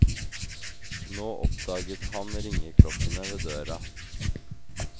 Nå oppdaget han ringeklokkene ved døra.